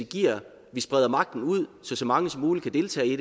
vi spreder magten ud sådan så mange som muligt kan deltage i